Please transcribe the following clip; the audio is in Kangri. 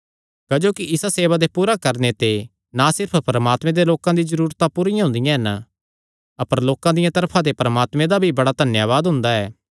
क्जोकि इसा सेवा दे पूरा करणे ते ना सिर्फ परमात्मे दे लोकां दी जरूरतां पूरियां हुंदियां हन अपर लोकां दिया तरफा ते परमात्मे दा भी बड़ा धन्यावाद हुंदा ऐ